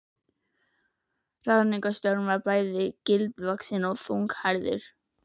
Ráðningarstjóri var bæði gildvaxinn og þunnhærður.